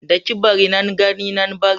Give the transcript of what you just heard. Daki-bari, nan gani nan bari